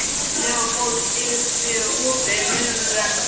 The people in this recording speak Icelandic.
Leópold, er opið í Miðeind?